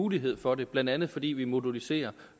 mulighed for det blandt andet fordi vi moduliserer